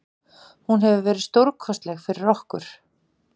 Hún hefur verið stórkostleg fyrir okkur.